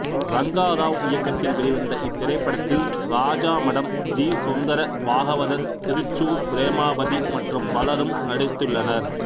ரங்கா ராவ் இயக்கத்தில் வெளிவந்த இத்திரைப்படத்தில் ராஜாமடம் ஜி சுந்தர பாகவதர் திருச்சூர் பிரேமாவதி மற்றும் பலரும் நடித்துள்ளனர்